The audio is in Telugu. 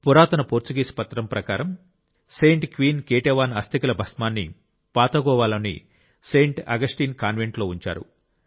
పురాతన పోర్చుగీస్ పత్రం ప్రకారం సెయింట్ క్వీన్ కేటేవాన్ అస్థికల భస్మాన్ని పాత గోవాలోని సెయింట్ అగస్టిన్ కాన్వెంట్లో ఉంచారు